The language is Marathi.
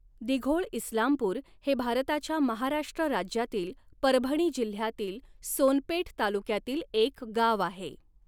दिघोळइस्लामपूर हे भारताच्या महाराष्ट्र राज्यातील परभणी जिल्ह्यातील सोनपेठ तालुक्यातील एक गाव आहे.